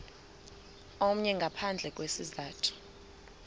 omnye ngaphandle kwesizathu